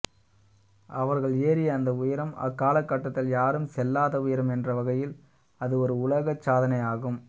அவர்கள ஏறிய அந்த உயரம் அக்காலகட்டத்தில் யாரும் செல்லாத உயரம் என்றவகையில் அது ஒரு உலக சாதனை ஆகும்